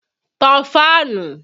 Tan fáànù!